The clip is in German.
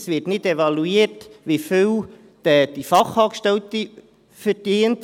es wird nicht evaluiert, wie viel die Fachangestellte verdient.